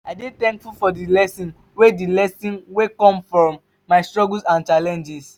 i dey thankful for the lessons wey the lessons wey come from my struggles and challenges.